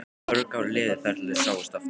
Mörg ár liðu þar til þau sáust aftur.